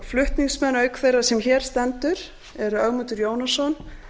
flutningsmenn auk þeirrar sem hér stendur eru ögmundur jónasson